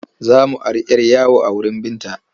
Za mu ari 'yar yawo a wurin Binta.